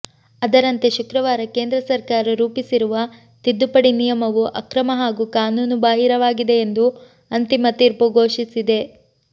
ಅದರಂತೆ ಶುಕ್ರವಾರ ಕೇಂದ್ರ ಸರ್ಕಾರ ರೂಪಿಸಿರುವ ತಿದ್ದುಪಡಿ ನಿಯಮವು ಅಕ್ರಮ ಹಾಗೂ ಕಾನೂನು ಬಾಹಿರವಾಗಿದೆ ಎಂದು ಅಂತಿಮ ತೀರ್ಪು ಘೋಷಿಸಿದೆ